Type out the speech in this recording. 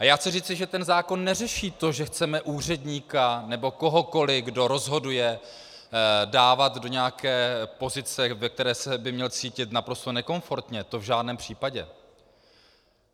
A já chci říci, že ten zákon neřeší to, že chceme úředníka nebo kohokoliv, kdo rozhoduje, dávat do nějaké pozice, ve které by se měl cítit naprosto nekomfortně, to v žádném případě.